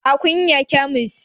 A Kunya kyamis